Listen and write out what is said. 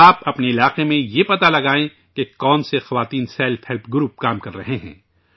آپ اپنے علاقے میں یہ پتہ لگائیں ، کہ کون سے خواتین سیلف ہیلپ گروپ کام کررہے ہیں